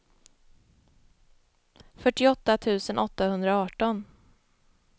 fyrtioåtta tusen åttahundraarton